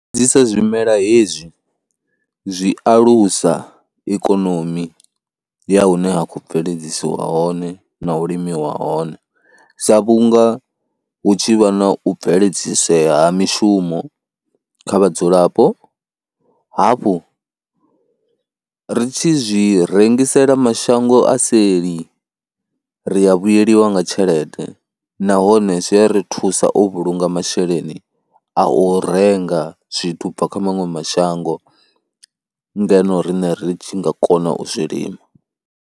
Zwimela hezwi zwi alusa ikonomi ya hune ha khou bveledzisa hone na u limiwa hone, sa vhunga hu tshi vha na u bveledzisee ha mishumo kha vhadzulapo, hafhu ri tshi zwi rengisela mashango a seli ri ya vhuyelwa nga tshelede nahone zwi a ri thusa u vhulunga masheleni a u renga zwithu u bva kha maṅwe mashango ngeno riṋe ri tshi nga kona u zwilima.